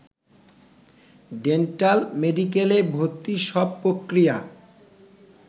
ডেন্টাল-মেডিকেলে ভর্তির সব প্রক্রিয়া